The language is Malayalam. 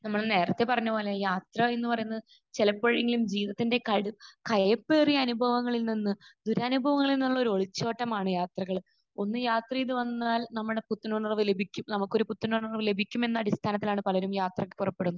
നമ്മൾ നേരത്തെ പറഞ്ഞത് പോലെ യാത്ര എന്ന് പറയുന്നത് ചിലപ്പോഴെങ്കിലും ജീവിതത്തിന്റെ കയ്...കയ്‌പ്പേറിയ അനുഭവങ്ങളിൽ നിന്ന്, ദുരനുഭവങ്ങളിൽ നിന്നുള്ള ഒരു ഒളിച്ചോട്ടമാണ് യാത്രകൾ. ഒന്ന് യാത്ര ചെയ്ത് വന്നാൽ നമ്മുടെ പുത്തനുണർവ്വോക്കെ ലഭിക്കും നമുക്കൊരു പുത്തനുണർവ്വ് ലഭിക്കും എന്ന അടിസ്ഥാനത്തിലാണ് പലരും യാത്രക്ക് പുറപ്പെടുന്നത്.